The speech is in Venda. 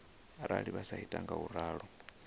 arali vha sa ita ngauralo